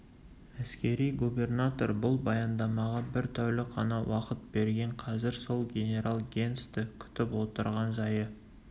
әскери губернатор бұл баяндамаға бір тәулік қана уақыт берген қазір сол генерал генсті күтіп отырған жайы